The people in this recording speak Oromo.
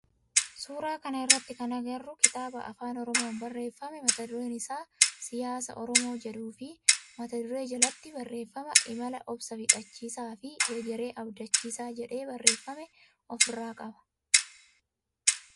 Suuraa kana irratti kan agarru kitaaba afaan oromoon barreeffame mata dureen isaa siyaasa oromoo jedhuu fi mata duree jalatti barreeffama imala obsa fixachiisaa fi hegeree abdachiisaa jedhee barreeffame of irraa qaba.